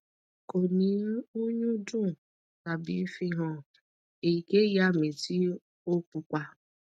ko ni nyun dun abi fihan eyikeyi ami ti o pupa